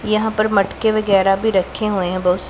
यहां पर मटके वगैरह भी रखे हुए हैं बहुत स--